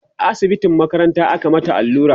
a asibitin makaranta aka mata allura